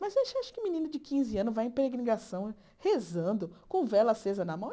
Mas você acha que menino de quinze anos vai em peregrinação rezando com vela acesa na mão?